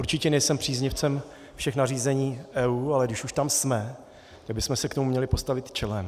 Určitě nejsem příznivcem všech nařízení EU, ale když už tam jsme, tak bychom se k tomu měli postavit čelem.